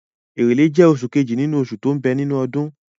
Èrèlé jẹ́ oṣù kejì nínú oṣù tó ń bẹ nínú ọdún.